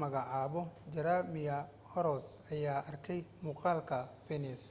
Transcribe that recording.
magacaabo jeremiah horrocks ayaa arkay muuqaalka fiinas